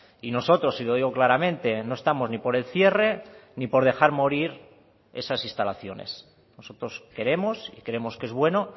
y nosotros y lo digo claramente no estamos ni por el cierre ni por dejar morir esas instalaciones nosotros queremos y creemos que es bueno